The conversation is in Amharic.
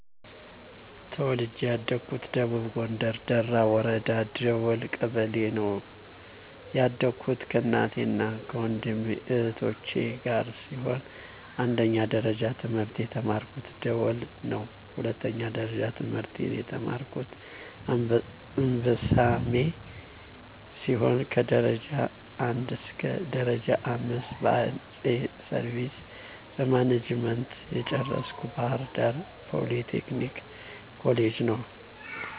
ተወልጀ ያደኩት ደቡብ ጎንደር ደራ ወረዳ ደወል ቀበሌ ነው። ያደኩት ከእናቴ እና ወንድም እህቶቸ ጋር ሲሆን አንደኛ ደረጃ ትምህርት የተማርኩ ደወል ነው, ሁለተኛ ደረጃ ትምህርቴን የተማርኩ አንበሳሜ ሲሆን ከደረጃ 1እስከ ደረጃ 5 በ አይቲ ሰርቪስ ማናጅመንት የጨረስኩ ባህርዳር ፓሊ ቴክኒክ ኮሌጅ ነው።